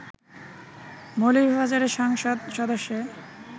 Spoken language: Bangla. মৌলভীবাজারের সংসদ সদস্যে